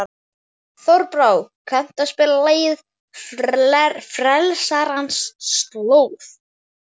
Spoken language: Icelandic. Þorbrá, kanntu að spila lagið „Frelsarans slóð“?